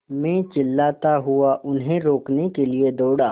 मैं चिल्लाता हुआ उन्हें रोकने के लिए दौड़ा